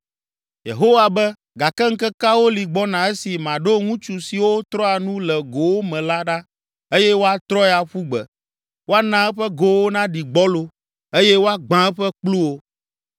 Yehowa be, ‘Gake ŋkekewo li gbɔna esi maɖo ŋutsu siwo trɔa nu le gowo me la ɖa eye woatrɔe aƒu gbe, woana eƒe gowo naɖi gbɔlo eye woagbã eƒe kpluwo.